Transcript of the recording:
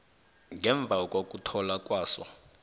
ngemva kokuthola kwaso